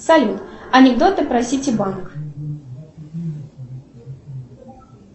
салют анекдоты про сити банк